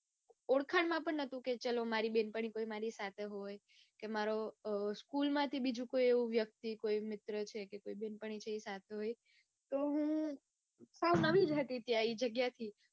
ઓળખાણ માં પણ કોઈ નતું. કે ચાલો મારી કોઈ સાથે હોય કે school માં થી કોઈ મિત્ર હોય મારી કોઈ બેનપણી હોય એ સાથે હોય. તો હું જ હતી તે જગ્યાએ.